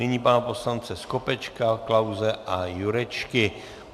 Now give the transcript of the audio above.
Nyní pana poslance Skopečka, Klause a Jurečky.